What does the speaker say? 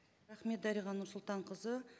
рахмет дариға нұрсұлтанқызы